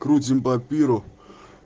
крутим паперу